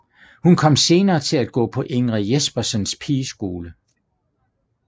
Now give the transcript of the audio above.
Hun kom senere til at gå på Ingrid Jespersens pigeskole